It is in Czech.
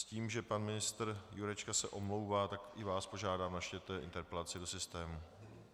S tím, že pan ministr Jurečka se omlouvá, tak i vás požádám, načtěte interpelaci do systému.